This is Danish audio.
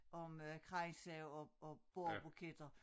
Om øh kranse og og bordbuketter